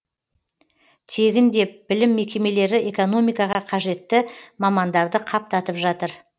тегін деп білім мекемелері экономикаға қажеті мамандарды қаптатып жатыр